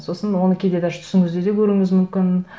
сосын оны кейде даже түсіңізде де көруіңіз мүмкін